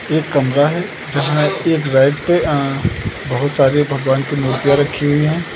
एक कमरा है जहां एक रैक पे अ बहुत सारे भगवान की मूर्तियां रखी हुई हैं।